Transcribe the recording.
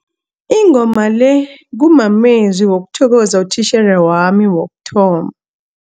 Ingoma le kumamezwi wokuthokoza utitjhere wami wokuthoma.